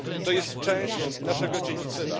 To jest część naszego dziedzictwa.